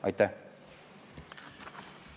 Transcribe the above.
Aitäh!